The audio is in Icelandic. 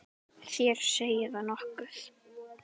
Þér segið nokkuð!